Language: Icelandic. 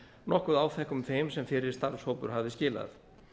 nokkuð áþekkum þeim sem fyrri starfshópur hafði skilað